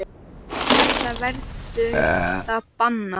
Eða verður það bannað?